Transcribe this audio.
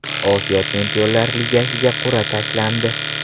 Osiyo Chempionlar ligasiga qur’a tashlandi.